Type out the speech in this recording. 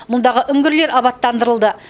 мұндағы үңгірлер абаттандырылды